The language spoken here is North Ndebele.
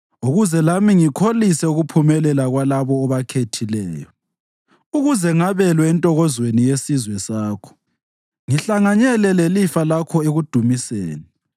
ukuze lami ngikholise ukuphumelela kwalabo obakhethileyo, ukuze ngabelwe entokozweni yesizwe sakho ngihlanganyele lelifa lakho ekudumiseni.